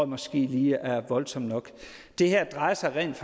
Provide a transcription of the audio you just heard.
måske er lige voldsomt nok det her drejer sig rent